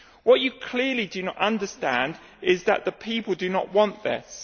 What you clearly do not understand is that the people do not want this.